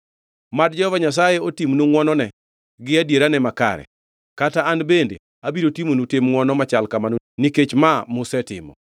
Mad Jehova Nyasaye otimnu ngʼwonone gi adierane makare, kata an bende abiro timonu tim ngʼwonono machal kamano nikech ma musetimo.